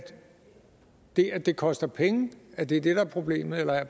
det at det koster penge er det der er problemet eller har